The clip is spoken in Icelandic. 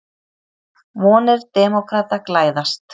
Vonir demókrata glæðast